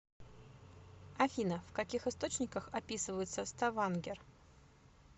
афина в каких источниках описывается ставангер